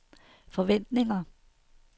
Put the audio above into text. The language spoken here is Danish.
forventninger